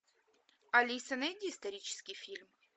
алиса найди исторический фильм